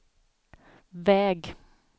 väg